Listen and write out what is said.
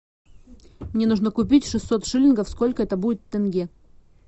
мне нужно купить шестьсот шиллингов сколько это будет тенге